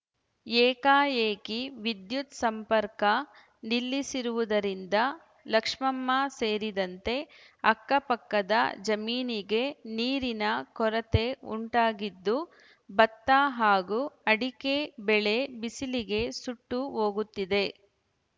ಏಕಾಏಕಿ ವಿದ್ಯುತ್‌ ಸಂಪರ್ಕ ನಿಲ್ಲಿಸಿರುವುದರಿಂದ ಲಕ್ಷ್ಮಮ್ಮ ಸೇರಿದಂತೆ ಅಕ್ಕಪಕ್ಕದ ಜಮೀನಿಗೆ ನೀರಿನ ಕೊರತೆ ಉಂಟಾಗಿದ್ದು ಭತ್ತ ಹಾಗೂ ಅಡಕೆ ಬೆಳೆ ಬಿಸಿಲಿಗೆ ಸುಟ್ಟು ಹೋಗುತ್ತಿದೆ